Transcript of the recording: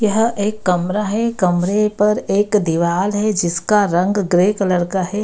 यह एक कमरा है। कमरे पर एक दीवाल है जिसका रंग ग्रे कलर का है।